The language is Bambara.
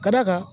Ka d'a kan